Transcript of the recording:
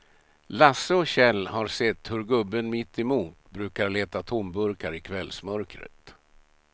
Lasse och Kjell har sett hur gubben mittemot brukar leta tomburkar i kvällsmörkret.